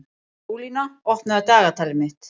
Skúlína, opnaðu dagatalið mitt.